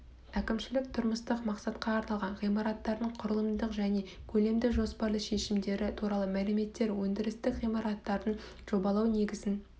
әкімшілік тұрмыстық мақсатқа арналған ғимараттардың құрылымдық және көлемді жоспарлы шешімдері туралы мәліметтер өндірістік ғимараттардың жобалау негізін